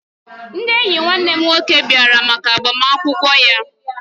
Ndị enyi nwanne m nwoke bịara maka agbamakwụkwọ ya